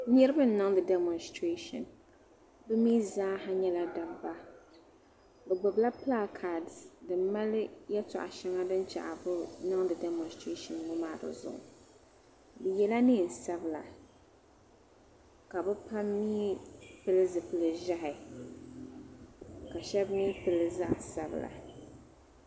niriba n niŋdi damostirɛshin be mi zaaha nyala dabba be gbibi la pilakads din mali yatɔɣ shɛŋa din chɛ ka be niŋdi damostirɛshin ŋɔ maa di zuɣu be yɛ la nɛɛnsabla ka be pam mi pili zipli ʒahi ka shɛba mi pilli zaɣ sabla